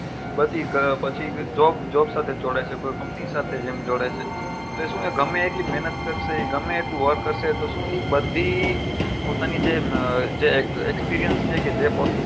બધી પછી job job સાથે જોડાય છે કોઈ company સાથે જેમ જોડાય છે તો એ શું ગમે તેટલી મહેનત કરશે એ ગમે એટલી વાર કરશે તો શું એ બધી પોતાની જે એ જે experience